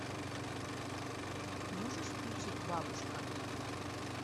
можешь включить бабушка